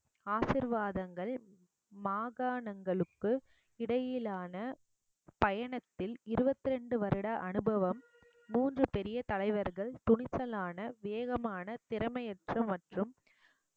ஆசீர்வாதங்கள் மாகாணங்களுக்கு இடையிலான பயணத்தில் இருபத்தி ரெண்டு வருட அனுபவம் மூன்று பெரிய தலைவர்கள் துணிச்சலான வேகமான திறமையற்ற மற்றும்